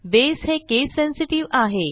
बसे हे case sensitive आहे